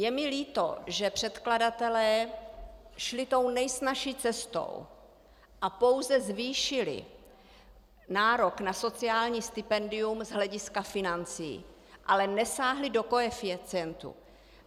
Je mi líto, že předkladatelé šli tou nejsnazší cestou a pouze zvýšili nárok na sociální stipendium z hlediska financí, ale nesáhli do koeficientů.